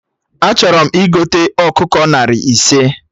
Achọrọ m igote ọkụkọ narị ise